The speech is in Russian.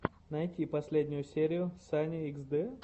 найти последнюю серию сани хд